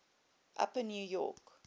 upper new york